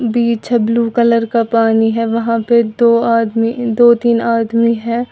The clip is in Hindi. पीछे ब्लू कलर का पानी है वहां पे दो आदमी दो तीन आदमी है।